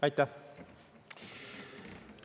Aitäh!